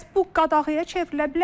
Bəs bu qadağaya çevrilə bilərmi?